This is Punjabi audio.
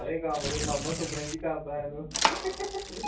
ਸਾਰੇ ਕੰਮ ਤੇ ਮਾਮਾ ਸੁਪਨੇ ਚ ਈ ਕਰਦਾ ਆ ਤੂੰ ।